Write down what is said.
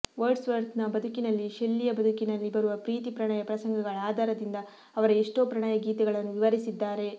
ವರ್ಡ್ಸ್ವರ್ತನ ಬದುಕಿನಲ್ಲಿ ಷೆಲ್ಲಿಯ ಬದುಕಿನಲ್ಲಿ ಬರುವ ಪ್ರೀತಿ ಪ್ರಣಯ ಪ್ರಸಂಗಗಳ ಆಧಾರದಿಂದ ಅವರ ಎಷ್ಟೋ ಪ್ರಣಯಗೀತೆಗಳನ್ನು ವಿವರಿಸಿದ್ದಾರೆ